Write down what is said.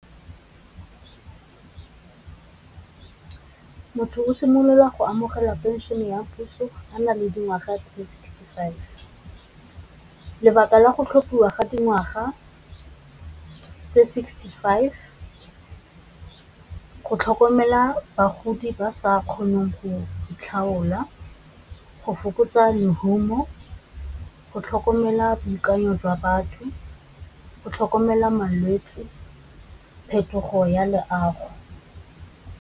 Go simolola go amogela pension ya puso a na le dingwaga di sixty-five. Lebaka la go tlhophiwa ga dingwaga tse sixty-five go tlhokomela bagodi ba sa kgoneng go tlhaola, go fokotsa lehumo, go tlhokomela boikanyo jwa batho, go tlhokomela malwetsi, phetogo ya leago.